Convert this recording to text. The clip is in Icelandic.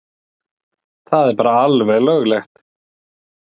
Það er bara alveg löglegt.